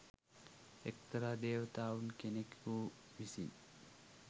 එක්තරා දේවතාවුන් කෙනෙකු විසින්